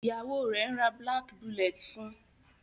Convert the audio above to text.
Ìyàwó rẹ ń rà black bullet fun.